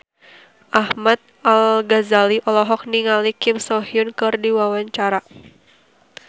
Ahmad Al-Ghazali olohok ningali Kim So Hyun keur diwawancara